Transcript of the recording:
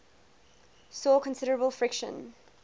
saw considerable friction